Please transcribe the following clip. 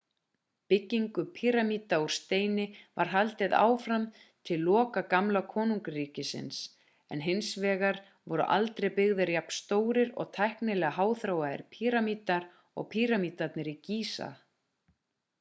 byggingu píramída úr steini var haldið áfram til loka gamla konungsríkisins en hins vegar voru aldrei byggðir jafn stórir og tæknilega háþróaðir píramídar og píramídarnir í gísa